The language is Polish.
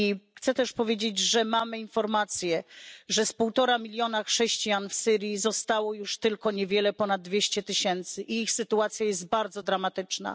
Chciałabym też powiedzieć, że mamy informacje, że z półtora miliona chrześcijan w Syrii zostało już tylko niewiele ponad dwieście tysięcy i ich sytuacja jest bardzo dramatyczna.